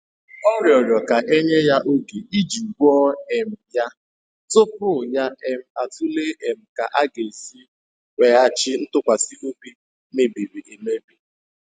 Ọ rịọrọ ka e nye ya oge iji gwọọ um ya tupu ya um atụle um ka a ga-esi weghachi ntụkwasị obi mebiri emebi.